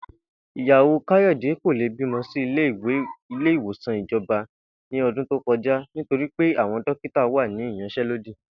Ìyàwó Káyò̩dé kò lè bímó̩ sí ilé ìwòsàn ìjo̩ba ní o̩dún tó ko̩ja nítorí pé àwo̩n dókítà wà ní ìyans̩é̩lódì